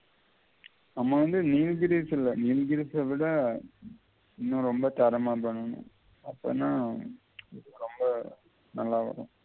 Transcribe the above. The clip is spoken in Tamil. நம்ம வந்து இன்னும் ரொம்ப தரமா பண்ணனும் அப்பதான் நல்லா வரும்